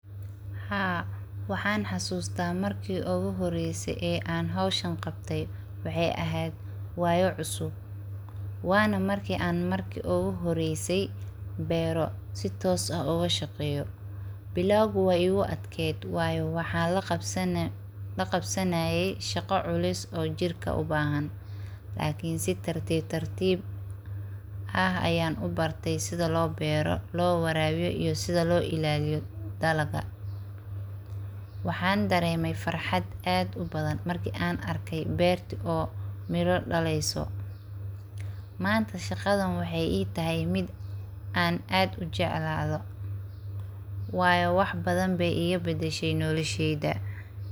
Haa, waxaan xasuusta marki oogu horeyse ee aan howshan qabte, waxeey eheed waayo cusub, waana marki aan marki oogu horeyse beero si toos ah ooga shaqeeyo, bilaawgi waay igu adkeed waayo waxaan laqabsanaaye shaqo culus oo jirka ubahan, lakin si tartib tartib ah ayaan ubarte sida loo beero, loo ilaaliyo iyo sida loo waraabiyo dalaga, waxaan dareeme farxad aad ubadan marki aan arke beerti oo mira daleeyso, manta shaqadan waxeey ii tahay mid aan aad ujeclaado, waayo wax badan beey iiga bedeshe nolosheyda.